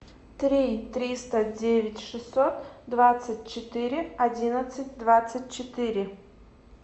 три триста девять шестьсот двадцать четыре одиннадцать двадцать четыре